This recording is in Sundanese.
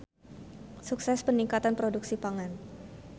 Sukses Peningkatan Produksi Pangan.